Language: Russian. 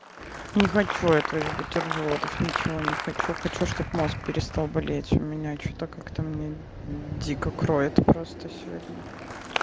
не хочу я твоих бутербродов ничего не хочу хочу чтобы мозг перестал болеть у меня что-то как-то мне дико кроет просто сегодня